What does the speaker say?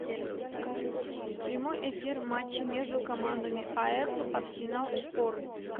прямой эфир матча между командами апл арсенал шпоры